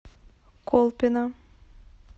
колпино